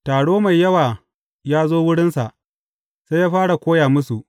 Taro mai yawa ya zo wurinsa, sai ya fara koya musu.